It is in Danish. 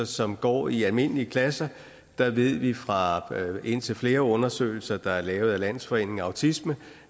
som går i almindelige klasser der ved vi fra indtil flere undersøgelser der er lavet af landsforeningen autisme